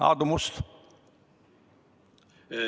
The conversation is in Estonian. Aadu Must, palun!